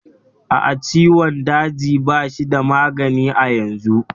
A'a, ciwon daji ba shi da magani a yanzu.